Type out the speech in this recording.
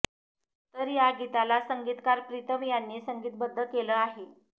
तर या गीताल संगीतकार प्रीतम यांनी संगीतबद्ध केलं आहे